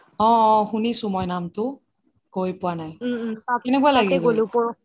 অহ অহ শুনিছো মই নামটো গৈ পোৱা নাই কেনেকুৱা লাগিল